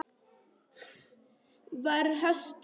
Gunnar var hastur.